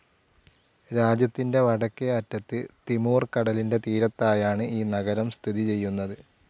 രാജ്യത്തിന്റെ വടക്കേ അറ്റത്ത് തിമൂർ കടലിന്റെ തീരത്തായാണ് ഈ നഗരം സ്ഥിതി ചെയ്യുന്നത്.